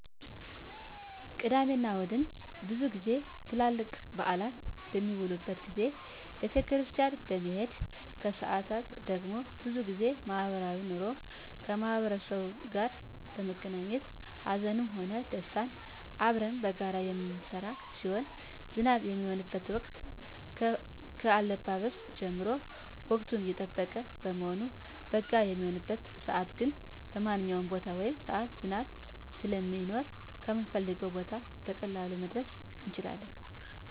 ቅዳሜ እና እሁድ ብዙ ጊዜ ትልልቅ በአላት በሚዉሉበት ጊዜ ቤተክርስቲያን በመሄድ ከሰአት ደግሞ ብዙ ጊዜ ማህበራዊ ኑሮ ከማህበረሰቡ ጋር በመገናኘት ሀዘንም ሆነ ደስታ አብረን በጋራ የምንጋራ ሲሆን ዝናብ በሚሆንበት ወቅት ከአለባበስ ጀምሮ ወቅቱን የጠበቀ በመሆኑ በጋ በሚሆንበት ሰዓትግን በማንኛዉም ቦታ ወይም ሰዓት ዝናብ ስለማይኖር ከምንፈልገዉ ቦታ በቀላሉ መድረስ እንችላለን